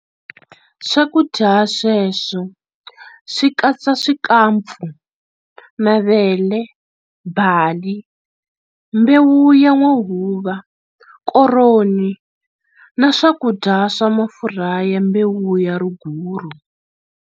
Swakudya sweswo swi katsa swikampfu, mavele, bali, mbewu ya n'wahuva, koroni na swakudya swa mafurha ya mbewu ya riguru.